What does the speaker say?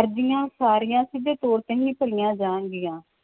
ਅਰਜੀਆਂ ਸਾਰੀਆਂ ਸਿੱਧੇ ਤੌਰ ਤੇ ਹੀ ਭਰੀਆਂ ਜਾਣਗੀਆਂ